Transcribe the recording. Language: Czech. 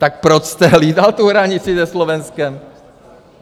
Tak proč jste hlídal tu hranici ze Slovenskem?